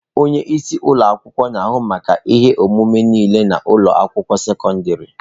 Onye isi ụlọ akwụkwọ na-ahụ maka ihe omume niile na ụlọ akwụkwọ sekọndrị.